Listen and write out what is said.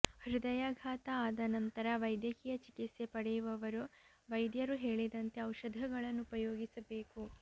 ಹೃದಯಾಘಾತ ಆದ ನಂತರ ವೈದ್ಯಕೀಯ ಚಿಕಿತ್ಸೆ ಪಡೆಯುವವರು ವೈದ್ಯರು ಹೇಳಿದಂತೆ ಔಷಧಗಳನ್ನು ಉಪಯೋಗಿಸಬೇಕು